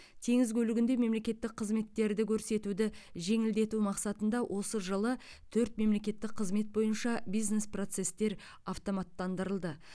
теңіз көлігінде мемлекеттік қызметтерді көрсетуді жеңілдету мақсатында осы жылы төрт мемлекеттік қызмет бойынша бизнес процестер автоматтандырылды